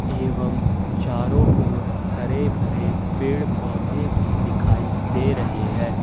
एवं चारों ओर हरे भरे पेड़ पौधे भी दिखाई दे रहे हैं।